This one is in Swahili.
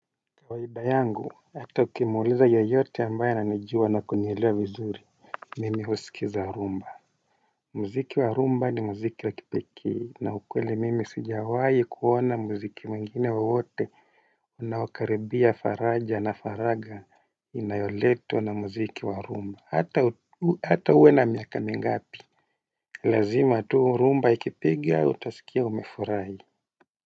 Kawaida yangu hata ukimuuliza yoyote ambaye ananijua na kunielewa vizuri mimi husikiza rumba mziki warumba ni mziki wakipekee na ukweli mimi sijawai kuona mziki mwengine wowote unaokaribia faraja na faraga inayoletwa na mziki warumba hata uwe na miaka mingapi lazima tu rumba ikipiga utaskia umefurahi.